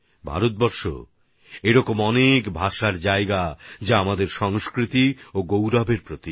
ভারত এমন অনেক ভাষার স্থান যা আমাদের সংস্কৃতি আর গৌরবের প্রতীক